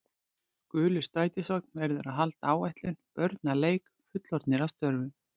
Gulur strætisvagn verður að halda áætlun, börn að leik, fullorðnir að störfum.